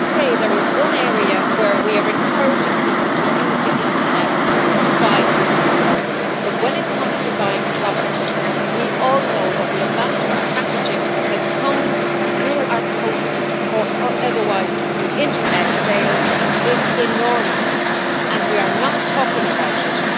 There is one area where we are encouraging people to use the internet to buy goods and services. However, when it comes to buying products, we all know that the amount of packaging that comes through our post, or otherwise, with internet sales is enormous, and we are not talking about it.